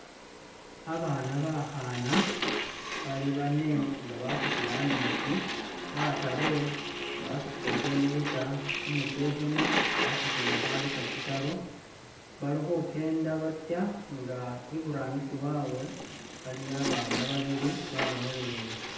Abana bakhana bali bane inga basutila ameetsi bataru basutile ten liter umukyekhemo wasutile kha liter tsitaru bali khukenda batsa ing iburangisi wawe aliyo abana babili babalolelele.